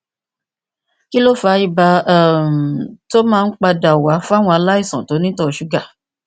kí ló fa ibà um tó máa ń padà wá fúnàwọn aláìsàn tó ní ìtọ ṣúgà